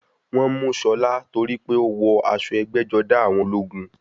Wọ́n mú Ṣọlá torípé ó wọ aṣọ ẹgbẹ́-jọdá àwọn ológun.